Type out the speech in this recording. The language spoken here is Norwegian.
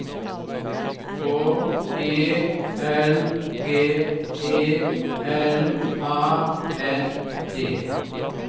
H E L G E L A N D